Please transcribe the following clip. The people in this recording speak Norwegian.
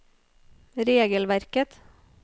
regelverket